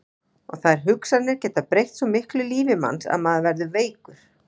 Og þær hugsanir geta breytt svo miklu í lífi manns að maður verður veikur.